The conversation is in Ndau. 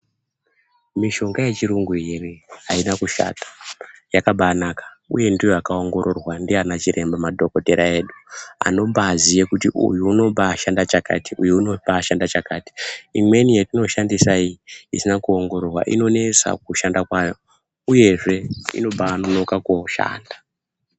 Mishonga yechirungu iyi ere ayina kushata yakabanaka uye ndiyo yakaongororwa ndiana chiremba madhokodheya edu anombaziye kuti uyu unobashanda chakati uyu unombashanda chakati imweni yetinoshandisa iyi kuongororwa inonesa kushanda kwayo uyezve inombanonoka koshanda.